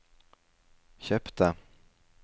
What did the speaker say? kjøpte